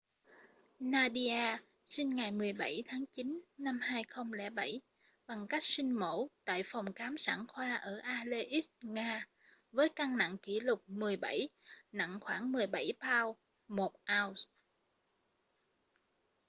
nadia sinh ngày 17 tháng 9 năm 2007 bằng cách sinh mổ tại phòng khám sản khoa ở aleisk nga với cân nặng kỷ lục 17 nặng khoảng 17 pound 1 ounce